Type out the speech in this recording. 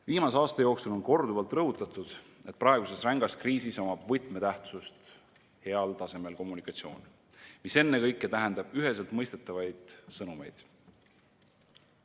Viimase aasta jooksul on korduvalt rõhutatud, et praeguses rängas kriisis on võtmetähtsusega heal tasemel kommunikatsioon, mis ennekõike tähendab üheselt mõistetavaid sõnumeid.